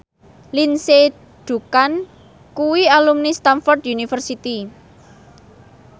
Lindsay Ducan kuwi alumni Stamford University